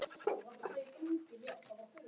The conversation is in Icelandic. Í hvaða sæti endar Stjarnan í sumar?